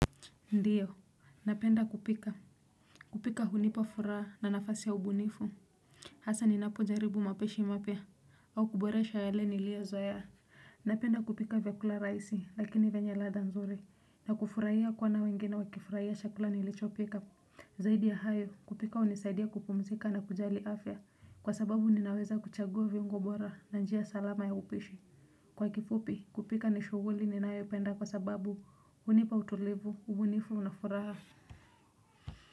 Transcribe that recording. Ndiyo napenda kupika. Kupika hunipa furaha na nafasi ya ubunifu, hasa ni napo jaribu mapishi mapya au kuboresha yale nilio zoea, napenda kupika vyakula rahisi lakini venye ladha nzuri na kufurahiya kuona wengine wakifurahiya chakula nilicho pika zaidi ya hayo, kupika hunisaidia kupumzika na kujali afya kwa sababu ninaweza kuchagua viungo bora na njia salama ya upishi. Kwa kifupi kupika ni shughuli ninayo penda kwa sababu hunipa utulivu, ubunifu na furaha.